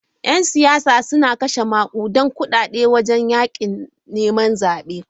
‘Yan siyasa suna kashe makudan kudade wajen yakin neman zabe.